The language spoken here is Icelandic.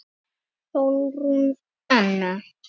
Sólrún Anna.